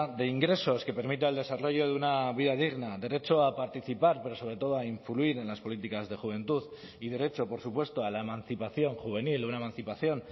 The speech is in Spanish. de ingresos que permita el desarrollo de una vida digna derecho a participar pero sobre todo a influir en las políticas de juventud y derecho por supuesto a la emancipación juvenil una emancipación